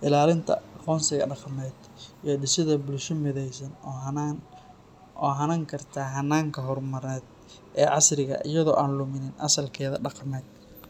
ilaalinta aqoonsiga dhaqameed, iyo dhisidda bulsho mideysan oo hanan karta hannaanka horumarineed ee casriga ah iyadoo aan luminin asalkeeda dhaqameed.